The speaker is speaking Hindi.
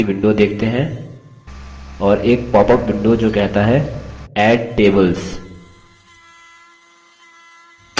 हम view design नामक एक नई window देखते हैं और एक पॉपअप window जो कहता है add tables